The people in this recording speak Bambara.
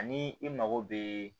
Ani i mago bɛ